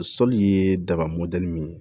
Sɔli ye daga mɔdɛli min ye